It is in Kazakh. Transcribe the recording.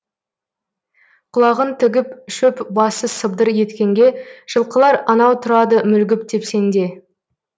құлағын тігіп шөп басы сыбдыр еткенге жылқылар анау тұрады мүлгіп тепсеңде